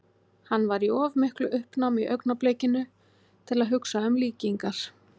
Hann var í of miklu uppnámi í augnablikinu til að hugsa um líkingar.